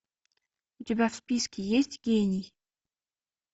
у тебя в списке есть гений